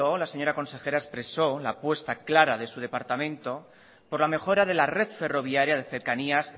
la señora consejera expresó la apuesta clara de su departamento por la mejora de la red ferroviaria de cercanías